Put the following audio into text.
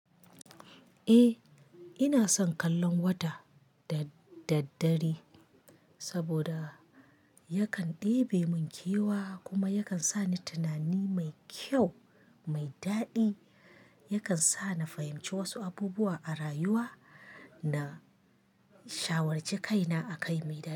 Eh, ina son kallon wata da daddare saboda yakan ɗebe mun kewa kuma yakan sa ni tunani mai kyau, mai daɗi, yakan sa na fahimci wasu abubuwa a rayuwa na shawarci kaina a kai mai daɗi.